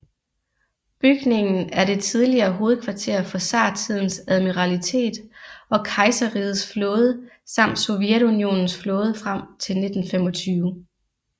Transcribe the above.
Bygningen er det tidligere hovedkvarter for zartidens admiralitet og kejserrigets flåde samt Sovjetunionens flåde frem til 1925